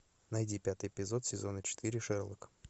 найди пятый эпизод сезона четыре шерлок